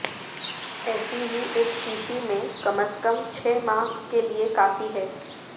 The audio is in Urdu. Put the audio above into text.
ایسی ہی ایک شیشی میں کم از کم چھ ماہ کے لیے کافی ہے